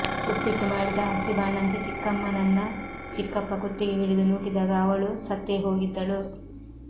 ಉಪ್ಪಿಟ್ಟು ಮಾಡಿದ ಹಸಿ ಬಾಣಂತಿ ಚಿಕ್ಕಮ್ಮನನ್ನ ಚಿಕ್ಕಪ್ಪ ಕುತ್ತಿಗೆ ಹಿಡಿದು ನೂಕಿದಾಗ ಅವಳು ಸತ್ತೇ ಹೋಗಿದ್ದಳು